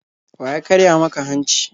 Wa ya karya maka hanci?